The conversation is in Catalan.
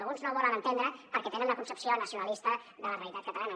alguns no ho volen entendre perquè tenen una concepció nacionalista de la realitat catalana